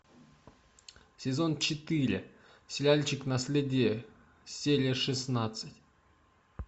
сезон четыре сериальчик наследие серия шестнадцать